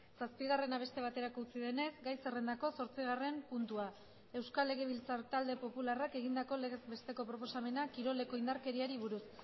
zazpigarrena beste baterako utzi denez gai zerrendako zortzigarren puntua euskal legebiltzar talde popularrak egindako legez besteko proposamena kiroleko indarkeriari buruz